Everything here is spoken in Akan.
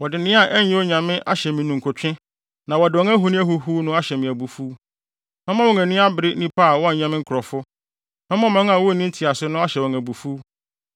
Wɔde nea ɛnyɛ Onyame ahyɛ me ninkutwe na wɔde wɔn ahoni ahuhuw no ahyɛ me abufuw. Mɛma wɔn ani abere nnipa a wɔnyɛ me nkurɔfo. Mɛma ɔman a wonni ntease no ahyɛ wɔn abufuw.